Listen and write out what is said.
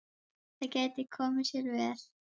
Það gæti komið sér vel.